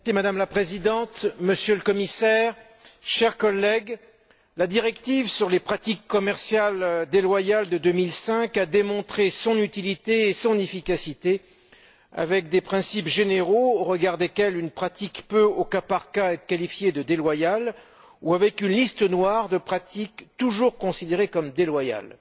Madame la Présidente, Monsieur le Commissaire, chers collègues, la directive 2005 sur les pratiques commerciales déloyales a démontré son utilité et son efficacité, avec des principes généraux au regard desquels une pratique peut, au cas par cas, être qualifiée de déloyale ou avec une liste noire de pratiques toujours considérées comme telles.